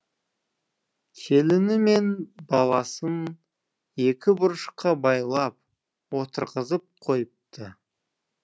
келіні мен баласын екі бұрышқа байлап отырғызып қойыпты